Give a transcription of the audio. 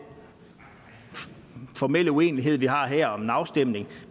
formelle uenighed vi har her om en afstemning